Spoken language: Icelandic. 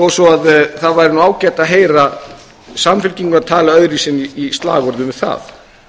svo það væri nú ágætt að heyra samfylkingu tala öðruvísi en í slagorðum